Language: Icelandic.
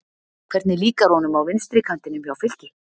Hvernig líkar honum á vinstri kantinum hjá Fylki?